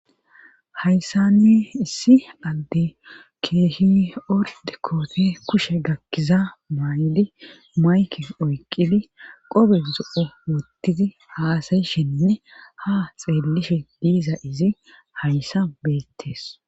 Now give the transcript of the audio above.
Hayssani issi adde keehi'orde koote kushe gakkiza maydi maykin oyqidi qobe zo'o wottizi haasayishinne ha xeellishe diiza izi hayssa beettes.